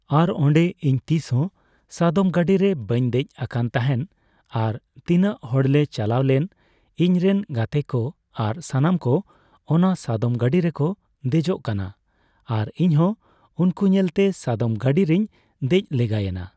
ᱟᱨ ᱚᱸᱰᱮ ᱤᱧ ᱛᱤᱥᱦᱚᱸ ᱥᱟᱫᱚᱢ ᱜᱟᱹᱰᱤᱨᱮ ᱵᱟᱹᱧ ᱫᱮᱡ ᱟᱠᱟᱱ ᱛᱟᱦᱮᱱ ᱟᱨ ᱛᱤᱱᱟᱹᱜ ᱦᱚᱲᱞᱮ ᱪᱟᱞᱟᱣ ᱞᱮᱱ ᱤᱧ ᱨᱮᱱ ᱜᱟᱛᱮᱠᱚ ᱟᱨ ᱥᱟᱱᱟᱢ ᱠᱚ ᱚᱱᱟ ᱥᱟᱫᱚᱢ ᱜᱟᱹᱰᱤ ᱨᱮᱠᱚ ᱫᱮᱡᱚᱜ ᱠᱟᱱᱟ ᱟᱨ ᱤᱧᱦᱚᱸ ᱩᱱᱠᱩ ᱧᱮᱞᱛᱮ ᱥᱟᱫᱚᱢ ᱜᱟᱹᱰᱤ ᱨᱮᱧ ᱫᱮᱡ ᱞᱮᱜᱟᱭᱮᱱᱟ ᱾